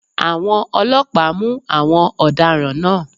Àwọn ọlọ́pàá mú àwọn ọ̀daràn náà